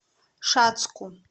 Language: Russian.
шацку